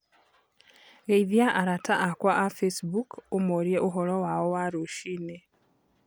Geithia arata akwa a Facebook ũmorĩe ũhoro wao wa rũcinĩ.